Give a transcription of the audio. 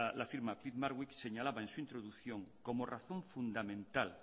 peat marwick señalaba en su introducción como razón fundamental